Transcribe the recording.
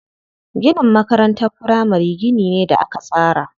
Ginin makarantar firamari gini ne da aka tsara.